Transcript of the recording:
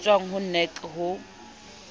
e tswang ho nac ho